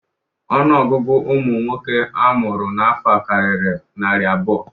Ọnụọgụgụ ụmụ nwoke a mụrụ n'afọ a karịrị narị abụọ.